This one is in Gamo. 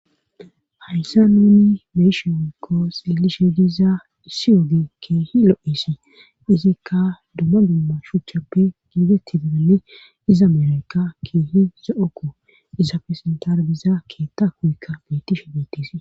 hayssa nuunni meeshe oykkoos ilishe diiza issi oge keehi lo7esi izikka dumma dumma shuchappe giigetti didanne iza meleka keehi za okko isapfe sentar biza keeta kuykka beetishe beetise